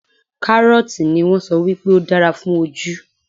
Kárọ́ọ̀tì ni wón sọ wípé ó dára fún ojú.